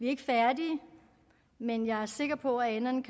ikke færdige men jeg er sikker på at enderne